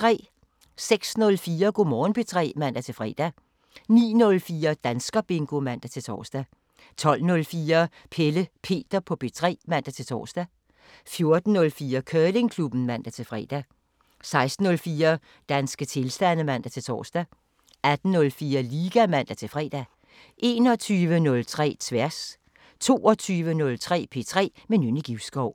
06:04: Go' Morgen P3 (man-fre) 09:04: Danskerbingo (man-tor) 12:04: Pelle Peter på P3 (man-tor) 14:04: Curlingklubben (man-fre) 16:04: Danske tilstande (man-tor) 18:04: Liga (man-fre) 21:03: Tværs 22:03: P3 med Nynne Givskov